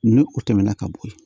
Ni o tɛmɛna ka bo yi